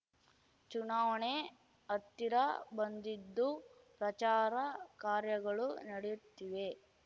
ಚುನಾವಣೆ ಹತ್ತಿರ ಬಂದಿದ್ದು ಪ್ರಚಾರ ಕಾರ್ಯಗಳು ನಡೆಯುತ್ತಿವೆ